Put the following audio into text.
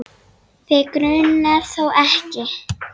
Þig grunar þó ekki?